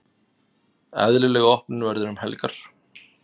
Eðlileg opnun verður um helgar.